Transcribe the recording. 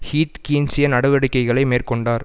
Heath கீன்சிய நடவடிக்கைகளை மேற்கொண்டார்